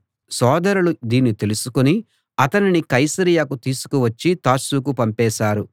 సోదరులు దీన్ని తెలుసుకుని అతనిని కైసరయకు తీసుకు వచ్చి తార్సుకు పంపేశారు